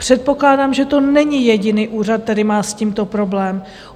Předpokládám, že to není jediný úřad, který má s tímto problém.